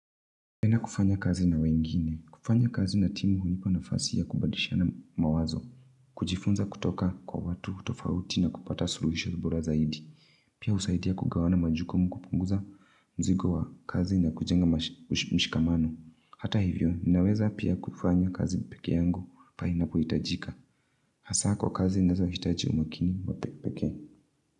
Napenda kufanya kazi na wengine. Kufanya kazi na timu hunipa nafasi ya kubalishana mawazo. Kujifunza kutoka kwa watu tofauti na kupata suluhisho bora zaidi. Pia usaidia kugawana majukumu kupunguza mzigo wa kazi na kujenga mshikamano. Hata hivyo, ninaweza pia kufanya kazi peke yangu. Pahali inapohitajika. Hasaa kwa kazi nazohitaji umakini wa pekee.